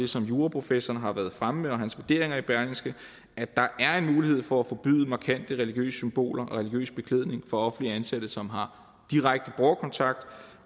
som juraprofessoren har været fremme med og hans vurderinger i berlingske at der er en mulighed for at forbyde markante religiøse symboler og religiøs beklædning for offentligt ansatte som har direkte borgerkontakt